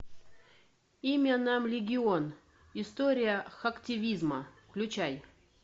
имя нам легион история хактивизма включай